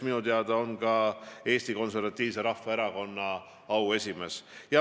Minu teada on ta ka Eesti Konservatiivse Rahvaerakonna auesimees.